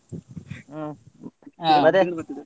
ಹ್ಮ್ ಮತ್ತೆ .